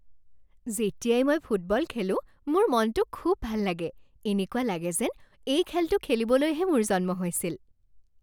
যেতিয়াই মই ফুটবল খেলোঁ, মোৰ মনটো খুব ভাল লাগে। এনেকুৱা লাগে যেন এই খেলটো খেলিবলৈহে মোৰ জন্ম হৈছিল।